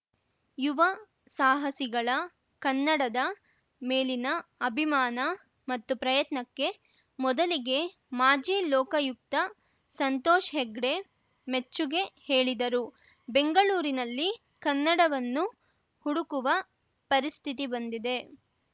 ಯುವ ಸಾಹಸಿಗಳ ಕನ್ನಡದ ಮೇಲಿನ ಅಭಿಮಾನ ಮತ್ತು ಪ್ರಯತ್ನಕ್ಕೆ ಮೊದಲಿಗೆ ಮಾಜಿ ಲೋಕಾಯುಕ್ತ ಸಂತೋಷ್‌ ಹೆಗ್ಡೆ ಮೆಚ್ಚುಗೆ ಹೇಳಿದರು ಬೆಂಗಳೂರಿನಲ್ಲಿ ಕನ್ನಡವನ್ನು ಹುಡುಕುವ ಪರಿಸ್ಥಿತಿ ಬಂದಿದೆ